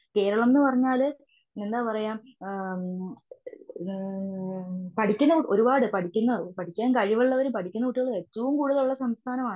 കേരളം എന്നു പറഞ്ഞാല് എന്ത പറയുക ആ മം ണ് പഠിക്കുന്ന ഒരുപാടു പഠിക്കുന്ന പഠിക്കാൻ കഴിവുള്ളവരും പഠിക്കുന്ന കുട്ടികളും ഏറ്റവും കൂടുതൽ ഉള്ള സംസ്ഥാനമാണ്.